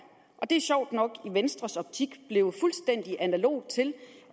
og det er sjovt nok i venstres optik blevet fuldstændig analogt til